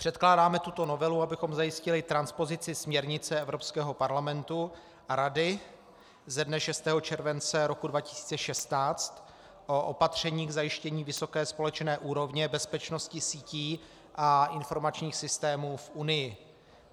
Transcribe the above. Předkládáme tuto novelu, abychom zajistili transpozici směrnice Evropského parlamentu a Rady ze dne 6. července roku 2016 o opatření k zajištění vysoké společné úrovně bezpečnosti sítí a informačních systémů v Unii.